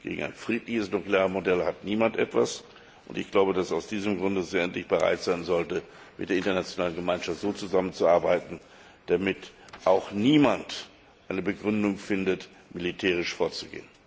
Gegen ein friedliches Nuklearmodell hat niemand etwas, und ich glaube, dass das Regime aus diesem Grunde endlich bereit sein sollte, mit der internationalen Gemeinschaft zusammenzuarbeiten, damit niemand eine Begründung findet, militärisch vorzugehen.